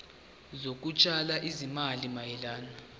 zokutshala izimali mayelana